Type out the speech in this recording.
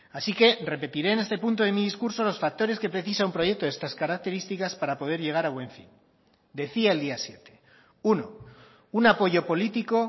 así que repetiré en este punto de mi discurso los factores que precisa un proyecto de estas características para poder llegar a buen fin decía el día siete uno un apoyo político